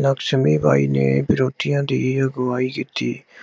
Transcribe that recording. ਲਕਸ਼ਮੀ ਬਾਈ ਨੇ ਵਿਰੋਧੀਆਂ ਦੀ ਅਗਵਾਈ ਕੀਤੀ।